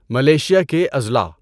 Malaysia کے اضلاع